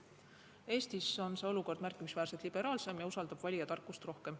Eestis on see olukord märkimisväärselt liberaalsem ja usaldab valija tarkust rohkem.